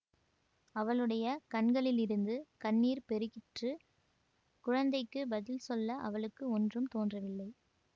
அவளுடைய கண்களிலிருந்து கண்ணீர் பெருகிற்று குழந்தைக்குப் பதில் சொல்ல அவளுக்கு ஒன்றும் தோன்றவில்லை